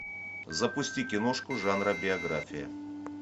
запусти киношку жанра биография